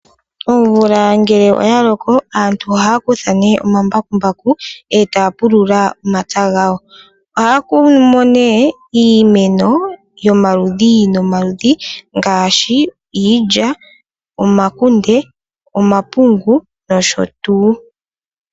Omvula ngele oya loko aantu ohaya kutha omambakumbaku etaya pulula omapya gawo. Ohaya kunumo iimeno yomaludhi nomaludhi ngaashi iilya, omakunde, omapungu noshotuu.